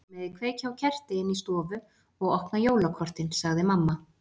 Þið megið kveikja á kerti inni í stofu og opna jólakortin sagði mamma.